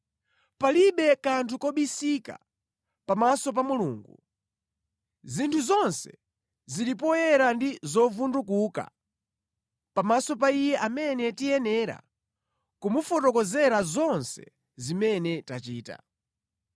Palibe kanthu kobisika pamaso pa Mulungu. Zinthu zonse zili poyera ndi zovundukuka pamaso pa Iye amene tiyenera kumufotokozera zonse zimene tachita.